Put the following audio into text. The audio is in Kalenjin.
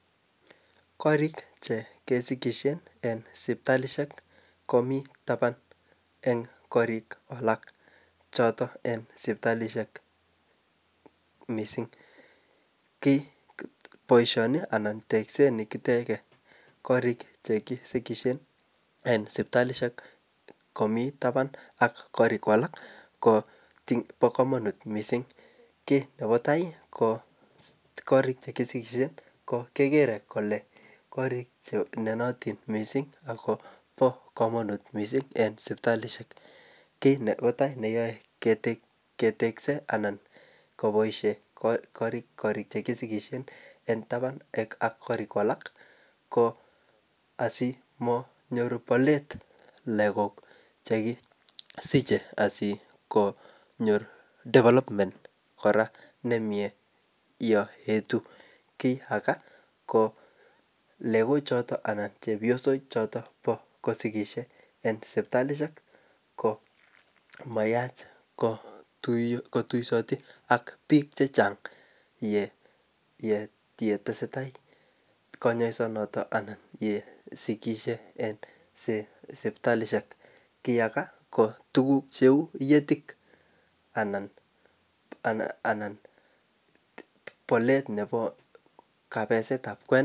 Korik chekesikishen en sipitalishek komii taban en korik alak choton en sipitalishek missing kikiboishen ana tekset nikiteke korik chekisikishen en sipitalishek komii taban ak korik alak ko bo komonut missing kit nebo tai ko korik chekisikishen kekere kole kirik chemionitij missing ak kobo komonut missingi sipitalishek. Kit nebo tai neyoe ketekse an koboishen korik chekisikishen en taban ak korik alak ko asikomonyor bolet lokok chekisieche asikonyoe development nemie yon eti. Kit age ko lokochoton anan cheoyosok choton bo kosikishe en sipitalishek ko mayach ko tuyo kotuksoti ak bik chechang ye yetesetai konyoisonoton ana ye sikishek en sipitalishek kiyaka ko tukuk cheu iyetik anan anan bolet nebo kabesetab kwenik.